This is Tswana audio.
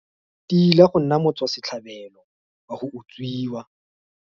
Tila go nna motswasetlhabelo wa go utswiwa.